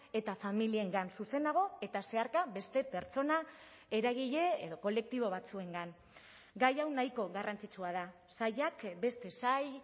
eta familiengan zuzenago eta zeharka beste pertsona eragile edo kolektibo batzuengan gai hau nahiko garrantzitsua da sailak beste sail